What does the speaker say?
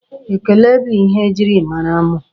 Ekele bụ ihe e jiri mara mụ.